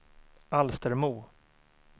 Alstermo